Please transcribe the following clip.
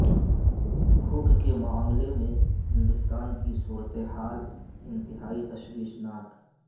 بھوک کے معاملے میں ہندوستان کی صورت حال انتہائی تشویشناک